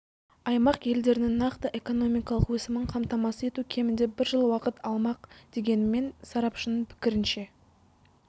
аймақ елдірінің нақты экономикалық өсімін қамтамасыз ету кемінде бір жыл уақыт алмақ дегенмен сарапшының пікірінше